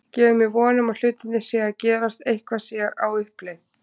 Gefur mér von um að hlutirnir séu að gerast, eitthvað sé á uppleið.